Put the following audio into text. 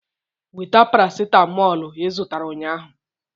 Weta paracetamolu ị zụtara ụnyahụ!